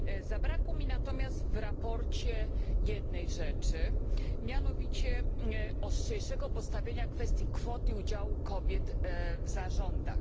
Zabrakło mi natomiast w sprawozdaniu jednej rzeczy, mianowicie ostrzejszego postawienia kwestii kwoty udziału kobiet w zarządach.